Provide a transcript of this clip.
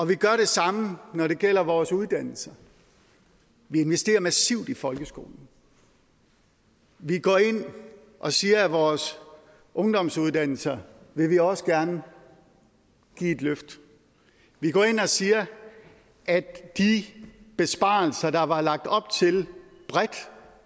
vi gør det samme når det gælder vores uddannelse vi investerer massivt i folkeskolen vi går ind og siger at vores ungdomsuddannelser vil vi også gerne give et løft vi går ind og siger at de besparelser der var lagt op til